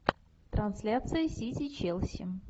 трансляция сити челси